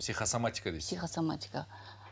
психосоматика дейсіз психосоматика